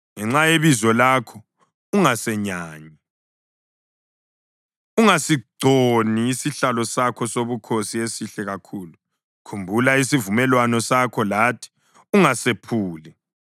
Ngenxa yebizo lakho ungasenyanyi; ungasigconi isihlalo sakho sobukhosi esihle kakhulu. Khumbula isivumelwano sakho lathi ungasephuli.